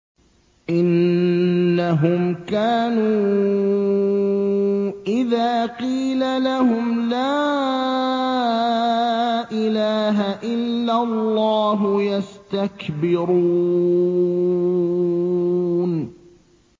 إِنَّهُمْ كَانُوا إِذَا قِيلَ لَهُمْ لَا إِلَٰهَ إِلَّا اللَّهُ يَسْتَكْبِرُونَ